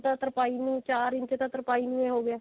ਤਾਂ ਤਰਪਾਈ ਨੂੰ ਚਾਰ ਇੰਚ ਤਾਂ ਤਰਪਾਈ ਨੂੰ ਹੀ ਹੋਗਿਆ